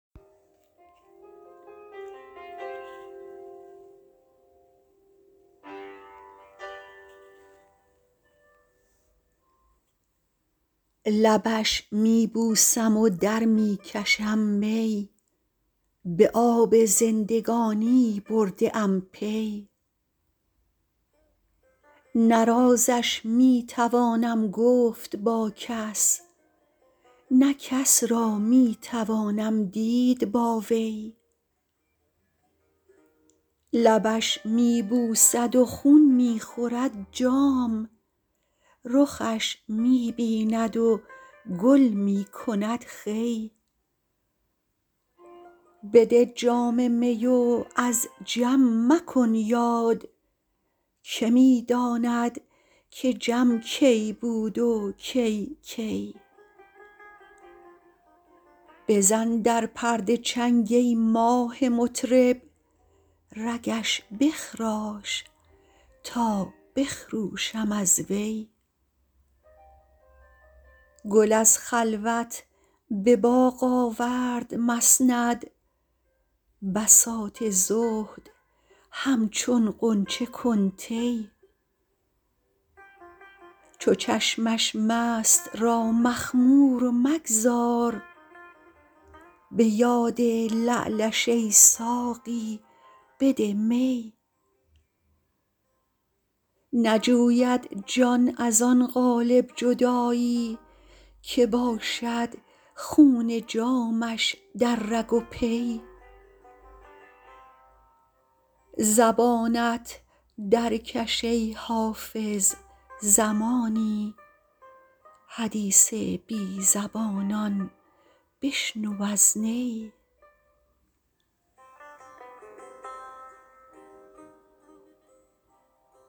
لبش می بوسم و در می کشم می به آب زندگانی برده ام پی نه رازش می توانم گفت با کس نه کس را می توانم دید با وی لبش می بوسد و خون می خورد جام رخش می بیند و گل می کند خوی بده جام می و از جم مکن یاد که می داند که جم کی بود و کی کی بزن در پرده چنگ ای ماه مطرب رگش بخراش تا بخروشم از وی گل از خلوت به باغ آورد مسند بساط زهد همچون غنچه کن طی چو چشمش مست را مخمور مگذار به یاد لعلش ای ساقی بده می نجوید جان از آن قالب جدایی که باشد خون جامش در رگ و پی زبانت درکش ای حافظ زمانی حدیث بی زبانان بشنو از نی